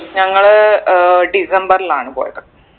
ഞങ്ങള് ഏർ ഡിസംബറിലാണ് പോയത്